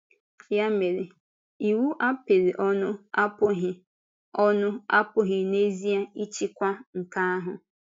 Yà mere, iwu a kapịrị ọnụ apụghị ọnụ apụghị n’ezìe ịchịkwa nke ahụ.